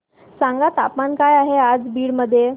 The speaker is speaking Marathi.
सांगा तापमान काय आहे आज बीड मध्ये